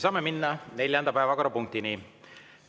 Saame minna neljanda päevakorrapunkti juurde.